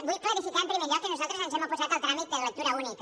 vull clarificar en primer lloc que nosaltres ens hem oposat al tràmit de lectura única